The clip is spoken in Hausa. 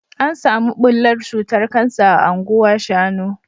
, an samu bullar cutar Kansa a Anguwa shanu